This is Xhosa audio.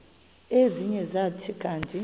ezinye zathi kanti